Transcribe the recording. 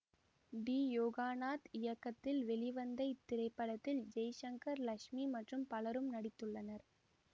D Yoganath இயக்கத்தில் வெளிவந்த இத்திரைப்படத்தில் ஜெய்சங்கர் லக்ஸ்மி மற்றும் பலரும் நடித்துள்ளனர்